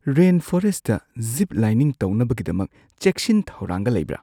Rainforest zip lining ꯇꯧꯅꯕꯒꯤꯗꯃꯛ ꯆꯦꯛꯁꯤꯟ -ꯊꯧꯔꯥꯡꯒ ꯂꯩꯕ꯭ꯔꯥ?